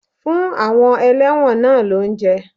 Fún àwọn elẹ́wọ̀n náà lóúnjẹ!